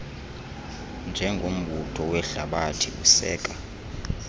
njengombutho wehlabathi useka